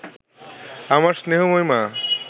আমার স্নেহময়ী মা